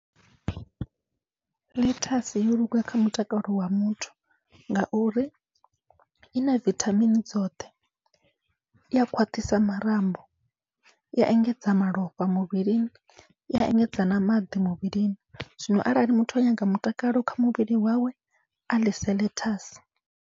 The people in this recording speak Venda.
Ḽethasi yoluga kha mutakalo wa muthu, ngauri ina vithamini dzoṱhe iya khwaṱhisa marambo, iya engedza malofha muvhilini, iya engedza na maḓi muvhilini, zwino arali muthu a nyanga mutakalo kha muvhili wawe a ḽese ḽethasi.